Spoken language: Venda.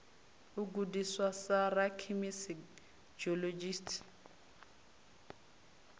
u gudiswa sa rakhemisi geologist